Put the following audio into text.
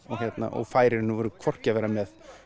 og fær hvorki að vera með